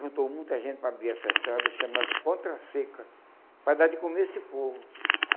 Juntou muita gente para abrir essa estrada, chamava-se Contra-seca, para dar de comer a esse povo.